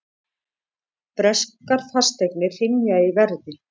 Breskar fasteignir hrynja í verði